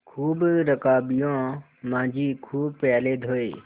खूब रकाबियाँ माँजी खूब प्याले धोये